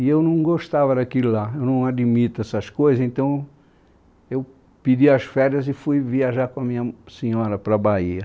E eu não gostava daquilo lá, eu não admito essas coisas, então eu pedi as férias e fui viajar com a minha senhora para a Bahia.